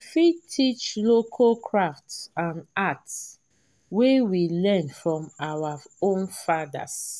we fit teach local craft and art wey we learn from our own fathers